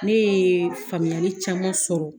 Ne ye faamuyali caman sɔrɔ